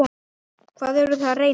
Hvað eru þau að reyna?